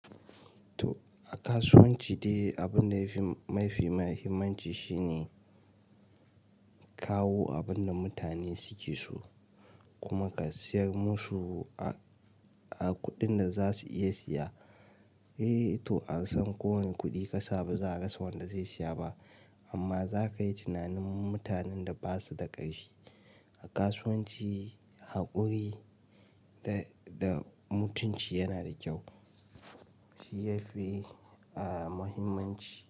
Toh, a kasuwanci dai abinda yafi mafi muhimmanci shine kawo abinda mutane suke so kuma ka sayar musu a kuɗin da za su iya saya. Eh toh an san ko wane kuɗi ka sa ba za a rasa wanda zai siya ba amma za kayi tunanin mutanen da basu da ƙarfi. A kasuwanci haƙuri da da mutunci yana da kyau, shi yafi muhimanci.